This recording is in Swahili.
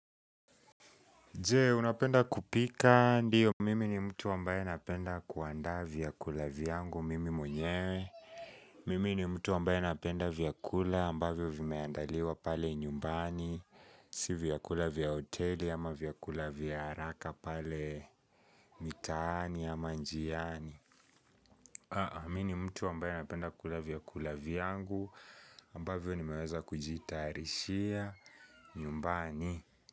Je, unapenda kupika ndio. Mimi ni mtu ambaye napenda kuandaa vyakula vyangu. Mimi mwenyewe. Mimi ni mtu ambaye napenda vyakula ambavyo vimeandaliwa pale nyumbani. Si vyakula vya hoteli ama vyakula vya haraka pale mitaani ama njiani. Mimi ni mtu ambaye anapenda kula vyakula vyangu. Ambavyo nimeweza kujitayarishia nyumbani.